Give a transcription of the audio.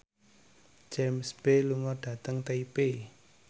James Bay lunga dhateng Taipei